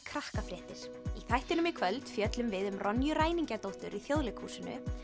þættinum í kvöld fjöllum við um ræningjadóttur í Þjóðleikhúsinu